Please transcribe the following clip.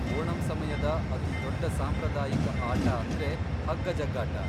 ಓಣಂ ಸಮಯದ ಅತಿ ದೊಡ್ಡ ಸಾಂಪ್ರದಾಯಿಕ ಆಟ ಅಂದ್ರೆ ಹಗ್ಗ ಜಗ್ಗಾಟ.